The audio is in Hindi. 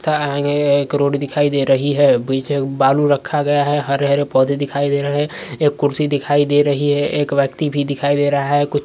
एक रोड दिखाई दे रही है। पीछे एक बालू रखा गया है। हरे-हरे पौधे दिखाई दे रहे है। एक कुर्सी दिखाई दे रही है। एक व्यक्ति भी दिखाई दे रहा है। कु --